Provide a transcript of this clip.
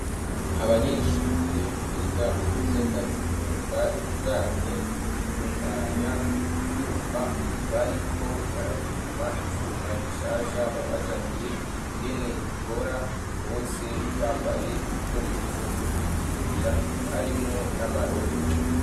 Abanyeshure biga mu gisata cumuka ibijanye no gutunganya ibyuma bariko barapima icuma gishasha babazaniye ingene gikora bose bambaye ibikoresho byo kwikingira harimwo n'amarori.